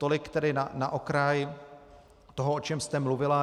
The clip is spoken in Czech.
Tolik tedy na okraj toho, o čem jste mluvila.